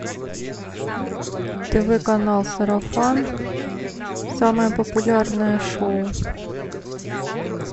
тв канал сарафан самое популярное шоу